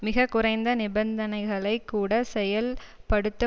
மிக குறைந்த நிபந்தனைகளைக் கூட செயல்படுத்த